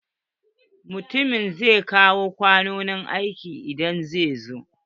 Mutumin zai kawo kwanon aiki idan zai zo.